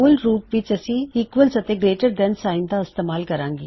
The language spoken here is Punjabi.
ਮੂਲ ਰੂਪ ਵਿੱਚ ਈਕਵਲਜ ਅਤੇ ਗਰੇਇਟਰ ਦੈਨ ਸਾਇਨ ਦਾ ਇਸਤੇਮਾਲ ਕਰਨਾ